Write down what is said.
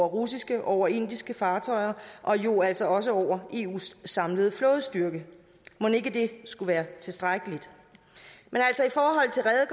russiske og indiske fartøjer og jo altså også over i eus samlede flådestyrke mon ikke det skulle være tilstrækkeligt men